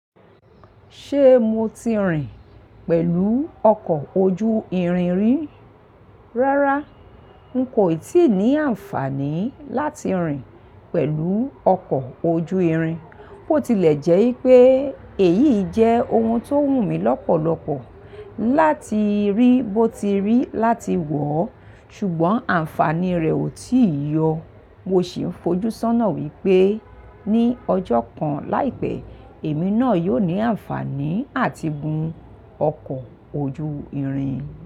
Ṣé mo ti rìn pẹ̀lú ọkọ̀ ojú irin rí? Rárá, n kò ì tíì ní àǹfààní láti rìn pẹ̀lú ọkọ̀ ojú irin. Bó tilẹ̀ jẹ́ wipé èyí jẹ́ ohun tó wù mí lọ́pọ̀lọpọ̀ láti rí bó ti rí láti wọ̀, ṣùgbọ́n àǹfààní rẹ̀ ò tíì yọ. Mo sì ń fojú sọ́nà wípé ní ọjọ́ kan láìpẹ́, èmi náà yóò ní àǹfààní àti gun ọkọ̀ ojú irin.